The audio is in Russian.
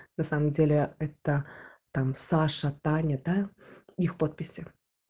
на самом деле это там саша таня да их подписи